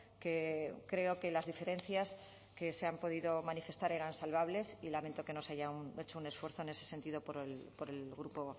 que creo que las diferencias que se han podido manifestar eran salvables y lamento que no se haya hecho un esfuerzo en ese sentido por el grupo